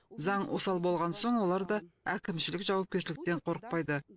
заң осал болған соң олар да әкімшілік жауапкершіліктен қорықпайды